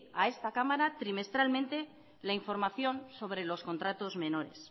a esta cámara trimestralmente la información sobre los contratos menores